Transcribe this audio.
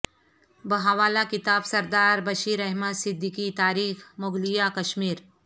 بحوالہ کتاب سردار بشیر احمد صدیقی تاریح مغلیہ کشمیر